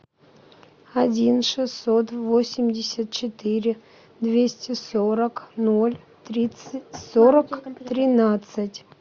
один шестьсот восемьдесят четыре двести сорок ноль тридцать сорок тринадцать